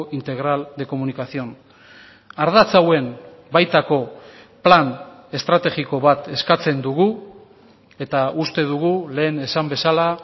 integral de comunicación ardatz hauen baitako plan estrategiko bat eskatzen dugu eta uste dugu lehen esan bezala